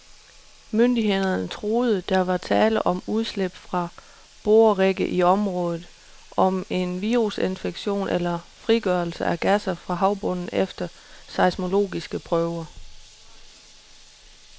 Myndighederne troede, der var tale om udslip fra borerigge i området, om en virusinfektion eller frigørelse af gasser fra havbunden efter seismologiske prøver.